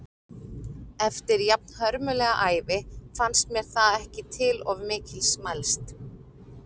Eftir jafnhörmulega ævi fannst mér það ekki til of mikils mælst.